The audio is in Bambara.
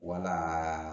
Wala